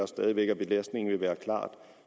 stadig væk at belastningen vil være klart